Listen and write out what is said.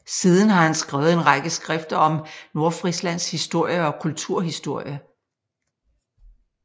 Siden har han skrevet en række skrifter om Nordfrislands historie og kulturhistorie